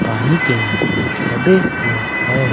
पानी के नीचे दबे हुए हैं।